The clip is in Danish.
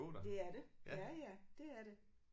Det er det. Ja ja det er det